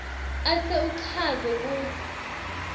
ase uchaze kutsi